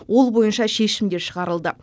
ол бойынша шешім де шығарылды